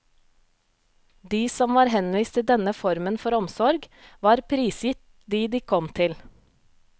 De som var henvist til denne formen for omsorg, var prisgitt dem de kom til.